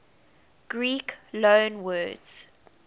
greek loanwords